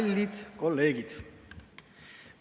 Kallid kolleegid!